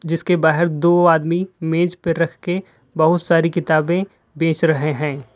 जिसके बाहर दो आदमी मेज पे रख के बहुत सारी किताबें बेच रहे हैं।